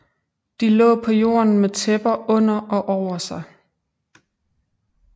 De lå på jorden med tæpper under og over sig